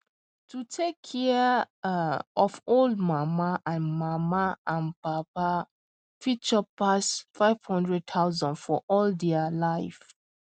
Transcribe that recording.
to take care um of old mama and mama and papa fit chop pass 500000 for all their um life